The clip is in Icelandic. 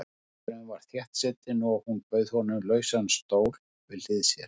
Staðurinn var þéttsetinn og hún bauð honum lausan stól við hlið sér.